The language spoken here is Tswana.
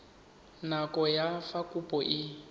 nako ya fa kopo e